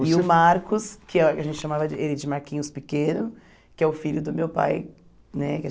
E o Marcos, que ah a gente chamava de ele de Marquinhos Pequeno, que é o filho do meu pai, né? Que a